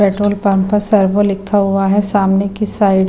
petrol pump पर Servo लिखा हुआ है सामने की साइड --